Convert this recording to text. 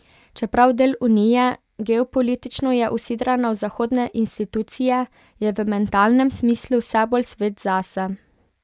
Čeprav del Unije, geopolitično je usidrana v zahodne institucije, je v mentalnem smislu vse bolj svet zase.